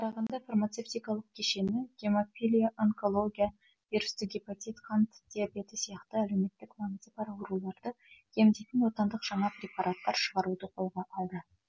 қарағанды фармацевтикалық кешені гемофилия онкология вирусты гепатит қант диабеті сияқты әлеуметтік маңызы бар ауруларды емдейтін отандық жаңа препараттар шығаруды қолға алды